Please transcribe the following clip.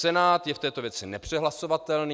Senát je v této věci nepřehlasovatelný.